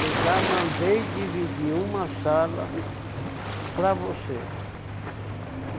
Eu já mandei dividir uma sala para você.